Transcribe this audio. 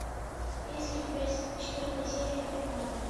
есть ли у тебя четвертая серия бригада